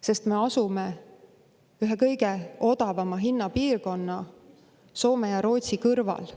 Sest me asume ühe kõige odavama hinnapiirkonna, Soome ja Rootsi kõrval.